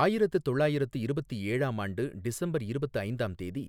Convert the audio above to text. ஆயிரத்து தொள்ளாயிரத்து இருபத்து ஏழாம் ஆண்டு டிசம்பர் இருபத்து ஐந்தாம் தேதி,